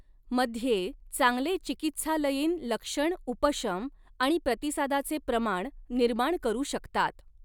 मध्ये चांगले चिकित्सालयीन लक्षण उपशम आणि प्रतिसादाचे प्रमाण निर्माण करू शकतात.